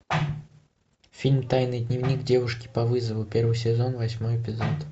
фильм тайный дневник девушки по вызову первый сезон восьмой эпизод